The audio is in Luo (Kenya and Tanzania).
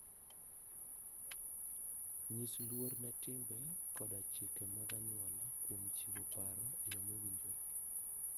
Nyis luor ne timbe koda chike mag anyuola kuom chiwo paro e yo mowinjore.